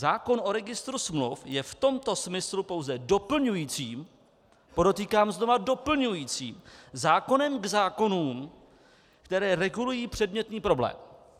Zákon o registru smluv je v tomto smyslu pouze doplňujícím , podotýkám znova doplňujícím zákonem k zákonům, které regulují předmětný problém.